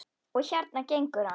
Og hérna gengur hann.